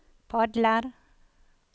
padler